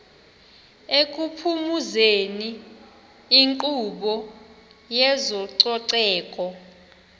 ekuphumezeni inkqubo yezococeko